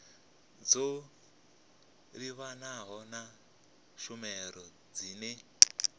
dzo livhanaho na tshumelo dzine